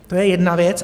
To je jedna věc.